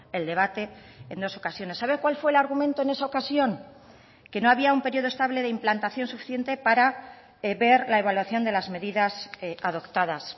el debate en dos ocasiones sabe cuál fue el argumento en esa ocasión que no había un periodo estable de implantación suficiente para ver la evaluación de las medidas adoptadas